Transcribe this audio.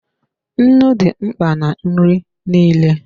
Nnu dị mkpa na nri nile.